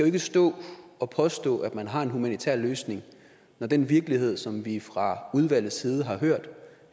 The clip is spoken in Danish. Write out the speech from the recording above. ikke stå og påstå at man har en humanitær løsning når den virkelighed som vi fra udvalgets side har hørt